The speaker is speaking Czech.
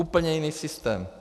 Úplně jiný systém.